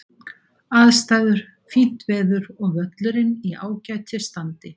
Aðstæður: Fínt veður og völlurinn í ágætis standi.